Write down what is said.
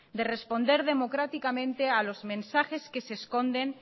de responder democráticamente a los mensajes que se esconden